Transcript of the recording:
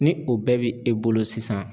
Ni o bɛɛ bi e bolo sisan